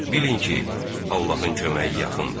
Bilin ki, Allahın köməyi yaxındır.